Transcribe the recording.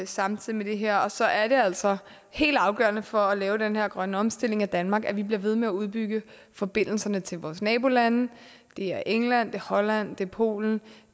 samtidig med det her og så er det altså helt afgørende for at lave den her grønne omstilling af danmark at vi bliver ved med at udbygge forbindelserne til vores nabolande det er england det er holland det er polen